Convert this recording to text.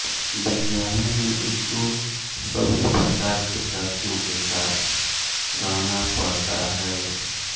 विद्यालय में उसको सभी प्रकार के साथियों के साथ रहना पड़ता है